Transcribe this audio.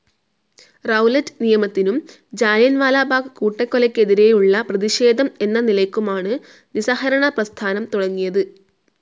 Rowlatt നിയമത്തിനും ജാലിയൻവാലാബാഗ് കൂട്ടക്കൊലയ്‌ക്കെതിരെയുള്ള പ്രതിഷേധം എന്ന നിലയ്ക്കുമാണ് നിസഹകരണ പ്രസ്ഥാനം തുടങ്ങിയത്.